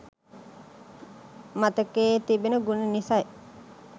මතකයේ තිබෙන ගුණ නිසයි